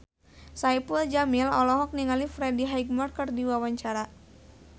Saipul Jamil olohok ningali Freddie Highmore keur diwawancara